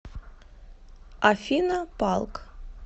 афина палк